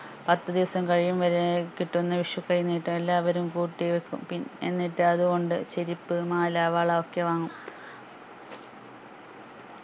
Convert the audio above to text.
പത്ത് ദിവസം കഴിയും വരെ ഏർ കിട്ടുന്ന വിഷു കൈനീട്ടം എല്ലാവരും കൂട്ടിവെക്കും പിൻ എന്നിട്ട് അത് കൊണ്ട് ചെരുപ്പ് മാല വള ഒക്കെ വാങ്ങും